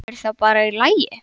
Er það bara í lagi?